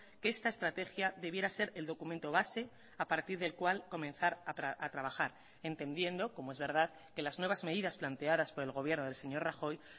que esta estrategia debiera ser el documento base a partir del cual comenzar a trabajar entendiendo como es verdad que las nuevas medidas planteadas por el gobierno del señor rajoy